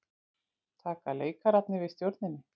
Taka leikararnir við stjórninni?